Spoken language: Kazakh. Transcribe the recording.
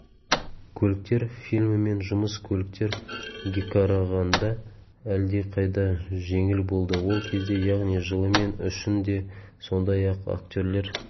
көліктер фильмімен жұмыс көліктер геқарағанда әлдеқайда жеңіл болды ол кезде яғни жылымен үшін де сондай-ақ актерлер